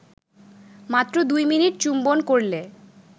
মাত্র ২ মিনিট চুম্বন করলে